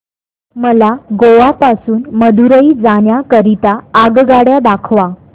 मला गोवा पासून मदुरई जाण्या करीता आगगाड्या दाखवा